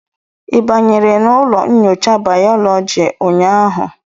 ị banyere n'ụlọ nyocha bayọlọji ụnyahụ?